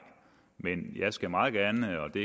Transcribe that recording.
men jeg skal meget gerne og det